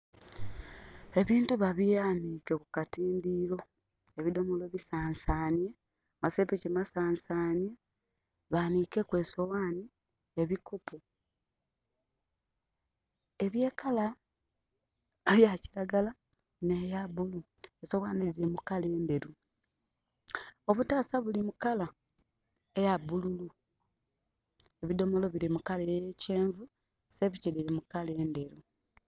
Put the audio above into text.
Ebintu ba byanike ku katindiro, ebidomolo bisansane, amasepiki masansane, banike ku esowani ebikopo ebye color eya kiragala neya bulu. Sowani diri mukala enderu, obutasa buli mukala ya bululu, ebidomolo biri mukala eya kyenvu, sepiki diri mukala enderu